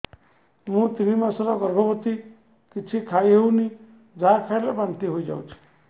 ମୁଁ ତିନି ମାସର ଗର୍ଭବତୀ କିଛି ଖାଇ ହେଉନି ଯାହା ଖାଇଲେ ବାନ୍ତି ହୋଇଯାଉଛି